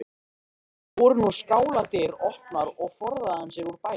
Voru nú skáladyr opnar og forðaði hann sér úr bænum.